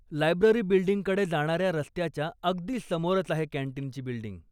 Library बिल्डींगकडे जाणाऱ्या रस्त्याच्या अगदी समोरच आहे कॅन्टीनची बिल्डींग.